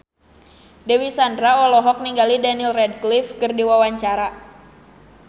Dewi Sandra olohok ningali Daniel Radcliffe keur diwawancara